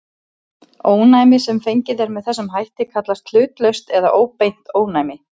Ónæmi sem fengið er með þessum hætt kallast hlutlaust eða óbeint ónæmi.